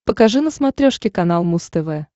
покажи на смотрешке канал муз тв